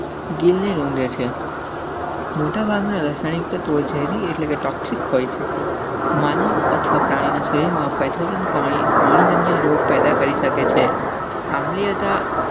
ગિલ્લીલંદ. મોટાભાગના સ્થાનિક તો ઝેરી એટલે કે ટોક્સિક હોય છે. માનવ અથવા પ્રાણીના શરીરમાં પૅથોજન, પાણી, પાણીજન્ય રોગ પેદા કરી શકે છે.